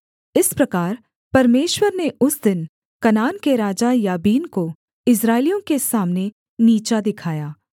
इस प्रकार परमेश्वर ने उस दिन कनान के राजा याबीन को इस्राएलियों के सामने नीचा दिखाया